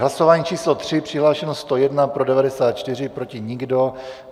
Hlasování číslo 3, přihlášeno 101, pro 94, proti nikdo.